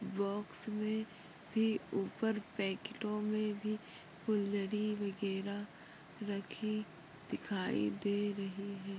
Box में भी ऊपर पॅकेटो भी फुलझड़ी वगैरा रखी दिखायी दे रही है।